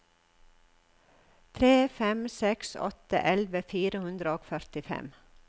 tre fem seks åtte elleve fire hundre og førtifem